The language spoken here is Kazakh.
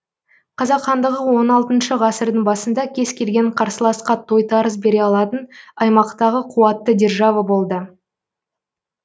қазақ хандығы он алтыншы ғасырдың басында кез келген қарсыласқа тойтарыс бере алатын аймақтағы қуатты держава болды